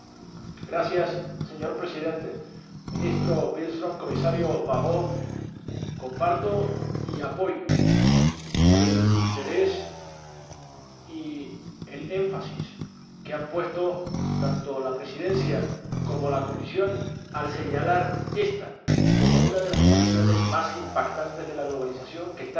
Señor Presidente, Ministro Billström, Comisario Barrot, comparto y apoyo el interés y el énfasis que han puesto tanto la Presidencia como la Comisión al señalar ésta como una de las dimensiones más impactantes de la globalización que están exigiendo